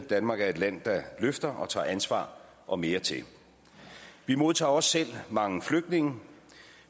danmark er et land der løfter og tager ansvar og mere til vi modtager også selv mange flygtninge